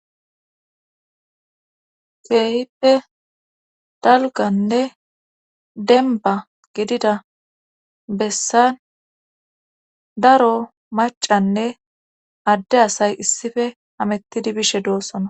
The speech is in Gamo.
feehippe dalganne denba gidida bessan daro macanne adde asay issife hamettidi bishe doossona